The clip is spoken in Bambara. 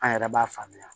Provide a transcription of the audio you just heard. An yɛrɛ b'a faamuya